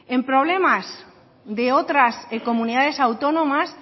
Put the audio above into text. en problemas de otras comunidades autónomas